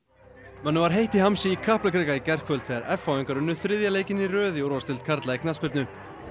mönnum var heitt í hamsi í Kaplakrika í gærkvöld þegar f h ingar unnu þriðja leikinn í röð í úrvalsdeild karla í knattspyrnu